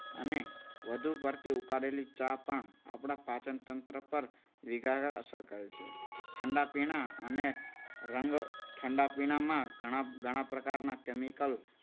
અને વધુ પડતી ઉકાળેલી ચા પણ આપણા પાચનતંત્ર પર વિગત અસર કરે છે. ઠંડા પીણા અને રંગ ઠંડા પીણામાં ઘણા પ્રકારના કેમિકલ